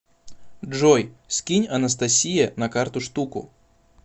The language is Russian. джой скинь анастасие на карту штуку